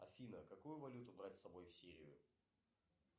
афина какую валюту брать с собой в сирию